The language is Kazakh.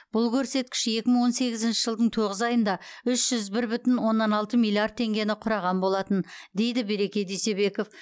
бұл көрсеткіш екі мың он сегізінші жылдың тоғыз айында үш жүз бір бүтін оннан алты миллиард теңгені құраған болатын дейді береке дүйсебеков